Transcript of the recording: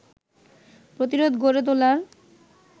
প্রতিরোধ গড়ে তোলার